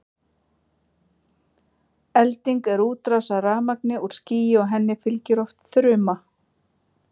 elding er útrás af rafmagni úr skýi og henni fylgir oft þruma